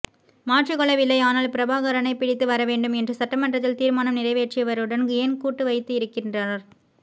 மாற்றிக்கொள்ளவில்லை ஆனால் பிரபாகரனை பிடித்து வர வேண்டும் என்று சட்டமன்றத்தில் தீர்மானம் நீறைவேற்றியவருடன் ஏன் கூட்டு வைத்து இருக்கின்றார்